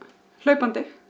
hlaupandi